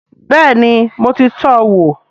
Bẹ́ẹ̀ni mo ti tọ́ wò